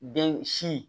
Den si